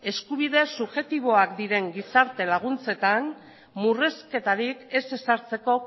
eskubide subjektiboak diren gizarte laguntzetan murrizketarik ez ezartzeko